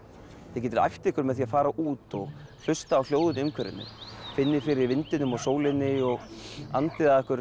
þið getið æft ykkur með því að fara út og hlusta á hljóðin í umhverfinu finnið fyrir vindinum og sólinni og andið að ykkur